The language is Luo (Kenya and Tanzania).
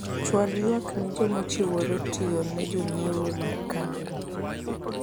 chwal ywak ne jomochirore tiyo ne jonyiewo mar kambi ni